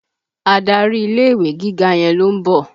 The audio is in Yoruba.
Adarí ilé-ìwé gíga yẹn ló ń bọ̀